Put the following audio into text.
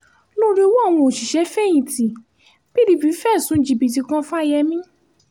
lórí ọwọ́ àwọn òṣìṣẹ́-fẹ̀yìntì pdp fẹ̀sùn jìbìtì kan fáyemí